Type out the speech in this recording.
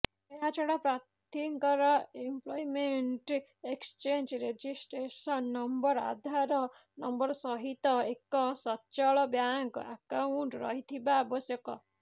ଏହାଛଡ଼ା ପ୍ରାର୍ଥୀଙ୍କର employment exchange registration number Aadhaar number ସହିତ ଏକ ସଚଳ ବ୍ୟାଙ୍କ ଆକାଉଂଟ ରହିଥିବା ଆବଶ୍ୟକ